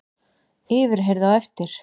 Yfirheyrð á eftir